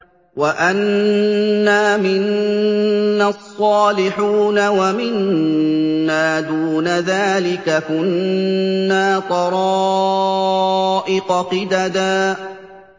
وَأَنَّا مِنَّا الصَّالِحُونَ وَمِنَّا دُونَ ذَٰلِكَ ۖ كُنَّا طَرَائِقَ قِدَدًا